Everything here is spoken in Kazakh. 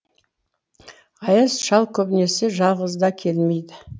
аяз шал көбінесе жалғыз да келмейді